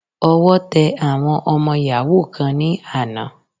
Ọwọ́ tẹ àwọn ọmọ yàhú kan ní àná.